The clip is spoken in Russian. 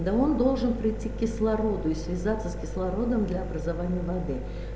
да он должен прийти к кислороду и связаться с кислородом для образования воды